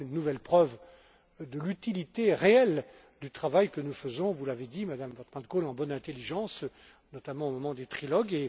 C'est une nouvelle preuve de l'utilité réelle du travail que nous faisons vous l'avez dit, Mme Wortmann Kool en bonne intelligence, notamment au moment des trilogues.